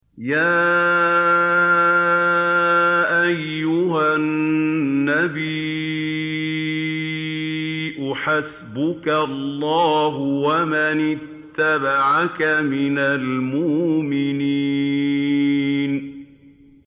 يَا أَيُّهَا النَّبِيُّ حَسْبُكَ اللَّهُ وَمَنِ اتَّبَعَكَ مِنَ الْمُؤْمِنِينَ